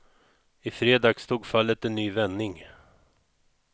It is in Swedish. I fredags tog fallet en ny vändning.